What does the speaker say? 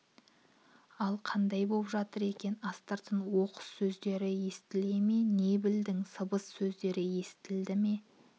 ал қандай боп жатыр екен астыртын оқыс сөздері естіле ме не білдің сыбыс сөзін естірте ме